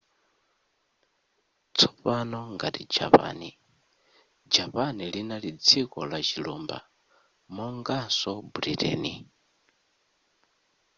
tsopano ngati japan japan linali dziko lachilumba monganso britain